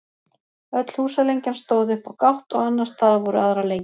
öll húsalengjan stóð upp á gátt og annars staðar voru aðrar lengjur